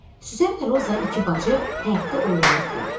Süsən lə Roza iki bacı həyətdə oynayırdılar.